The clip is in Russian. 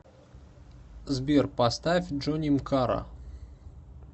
сбер поставь джоним кара